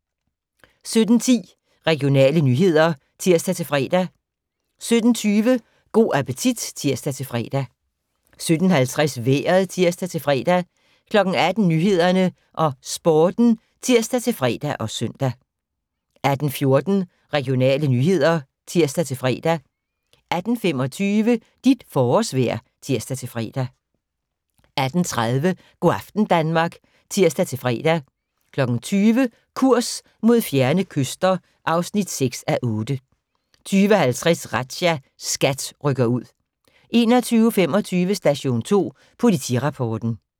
17:10: Regionale nyheder (tir-fre) 17:20: Go' appetit (tir-fre) 17:50: Vejret (tir-fre) 18:00: Nyhederne og Sporten (tir-fre og søn) 18:14: Regionale nyheder (tir-fre) 18:25: Dit forårsvejr (tir-fre) 18:30: Go' aften Danmark (tir-fre) 20:00: Kurs mod fjerne kyster (6:8) 20:50: Razzia - SKAT rykker ud 21:25: Station 2 Politirapporten